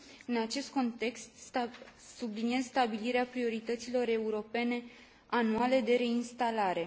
În acest context subliniez stabilirea priorităților europene anuale de reinstalare.